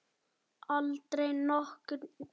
Aldrei nokkurn tímann.